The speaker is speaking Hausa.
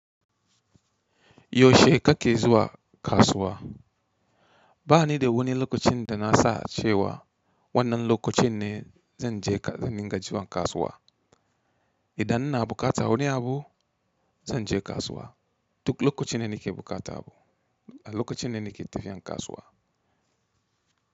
Yaushe kake zuwa kasuwa? Bani da wani lokacin da na sa cewa wannan lokacin ne zan je zan dinga zuwa kasuwa. Idan ina bukatar wani abu zan je kasuwa. Duk lokacin da nake bukatan abu, a lokacin me nake tafiya kasuwa.